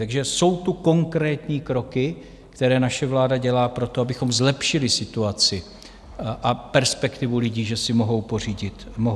Takže jsou tu konkrétní kroky, které naše vláda dělá pro to, abychom zlepšili situaci a perspektivu lidí, že si mohou pořídit vlastní byt.